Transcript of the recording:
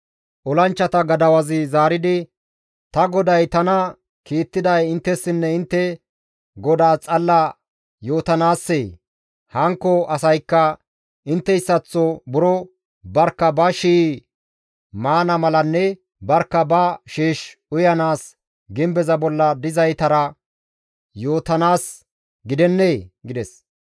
Olanchchata gadawazi zaaridi, «Ta goday tana kiittiday inttessinne intte godaas xalla yootanaassee? Hankko asaykka intteyssaththo buro barkka ba shii maana malanne barkka ba sheesh uyanaas gimbeza bolla dizaytara yootanaas gidennee?» gides.